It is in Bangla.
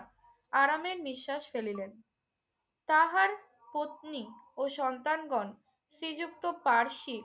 আরামের নিশ্বাস ফেলিলেন। তাহার পত্নী ও সন্তানগণ শ্রীযুক্ত পার্শী